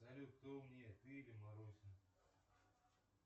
салют кто умнее ты или маруся